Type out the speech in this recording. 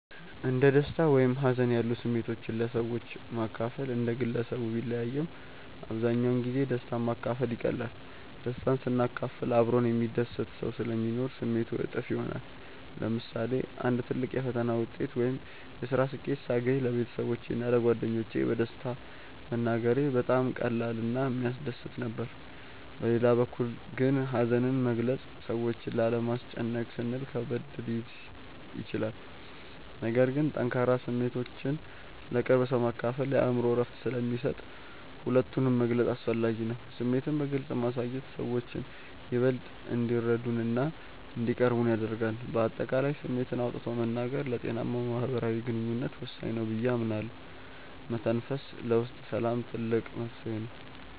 እንደ ደስታ ወይም ሀዘን ያሉ ስሜቶችን ለሰዎች ማካፈል እንደ ግለሰቡ ቢለያይም፣ አብዛኛውን ጊዜ ደስታን ማካፈል ይቀላል። ደስታን ስናካፍል አብሮን የሚደሰት ሰው ስለሚኖር ስሜቱ እጥፍ ይሆናል። ለምሳሌ አንድ ትልቅ የፈተና ውጤት ወይም የስራ ስኬት ሳገኝ ለቤተሰቦቼ እና ለጓደኞቼ በደስታ መናገሬ በጣም ቀላል እና የሚያስደስት ነበር። በሌላ በኩል ግን ሀዘንን መግለጽ ሰዎችን ላለማስጨነቅ ስንል ከበድ ሊል ይችላል። ነገር ግን ጠንካራ ስሜቶችን ለቅርብ ሰው ማካፈል የአእምሮ እረፍት ስለሚሰጥ ሁለቱንም መግለጽ አስፈላጊ ነው። ስሜትን በግልጽ ማሳየት ሰዎችን ይበልጥ እንዲረዱንና እንዲቀርቡን ያደርጋል። በአጠቃላይ ስሜትን አውጥቶ መናገር ለጤናማ ማህበራዊ ግንኙነት ወሳኝ ነው ብዬ አምናለሁ። መተንፈስ ለውስጥ ሰላም ትልቅ መፍትሄ ነው።